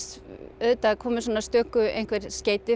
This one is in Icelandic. auðvitað komu stöku einhver skeyti